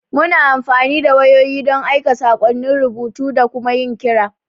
Muna amfani da wayoyi don aika saƙonnin rubutu da kuma yin kira.